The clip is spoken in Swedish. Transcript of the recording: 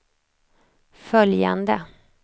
följande